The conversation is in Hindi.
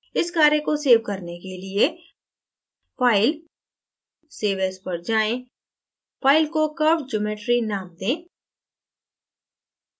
इस कार्य को सेव करने के लिए file>> save as पर जाएँ file को curvedgeometry name दें